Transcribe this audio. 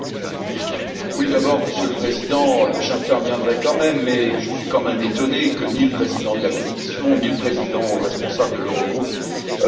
Monsieur le Président, j'interviendrai quand même, mais je suis un peu étonné que ni le Président de la Commission, ni le Président responsable de l'Eurogroupe ne soient là.